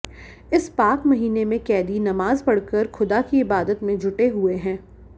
इस पाक महीने में कैदी नमाज पढ़कर खुदा की इबादत में जुटे हुए हैं